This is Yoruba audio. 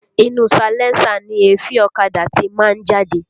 Inú salẹńsà ni èéfín ọ̀kadà ti máa ń jáde